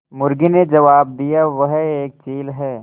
मुर्गी ने जबाब दिया वह एक चील है